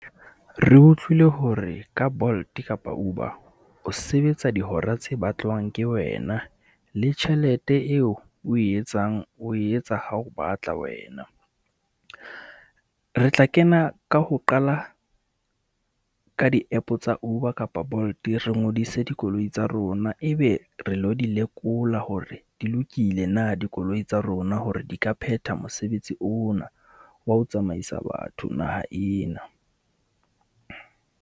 Re utlwile hore ka Bolt kapa Uber o sebetsa dihora tse batlwang ke wena, le tjhelete eo o e etsang o e etsa ha o batla, wena. Re tla kena ka ho qala ka di-app tsa Uber kapa Bolt. Re ngodise dikoloi tsa rona, ebe re lo di lekola hore di lokile na dikoloi tsa rona hore di ka phetha mosebetsi ona wa ho tsamaisa batho naha ena.